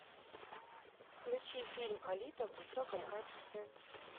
включи фильм алита в высоком качестве